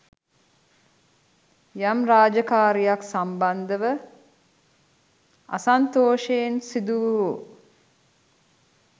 යම් රාජකාරීයක් සම්බන්ධව අසන්තෝෂයෙන් සිදු වූ